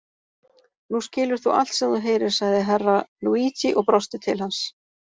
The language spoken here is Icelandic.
Nú skilur þú allt sem þú heyrir, sagði Herra Luigi og brosti til hans.